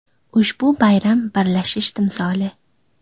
Ushbu bayram birlashish timsoli.